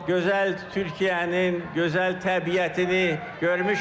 Gözəl Türkiyənin gözəl təbiətini görmüşəm.